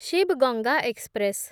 Shiv Ganga express